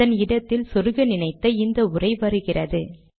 அதன் இடத்தில் சொருக நினைத்த இந்த உரை வருகிறது